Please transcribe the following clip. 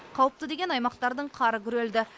қауіпті деген аймақтардың қары күрелді